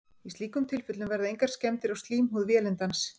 í slíkum tilfellum verða engar skemmdir á slímhúð vélindans